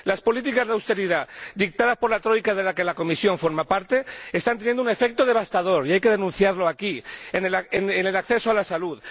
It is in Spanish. Las políticas de austeridad dictadas por la troika, de la que la Comisión forma parte, están teniendo un efecto devastador, que hay que denunciar aquí, en el acceso a la salud.